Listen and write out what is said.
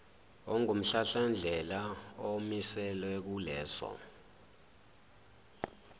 ongumhlahlandlela omiselwe kuleso